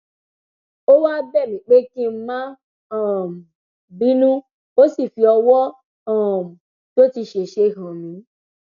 ó wáá bẹ mí pé kí n má um bínú ó sì fi ọwọ um tó ti ṣẹṣẹ hàn mí